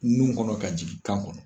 Nun kɔnɔ ka jigin kan kɔnɔ.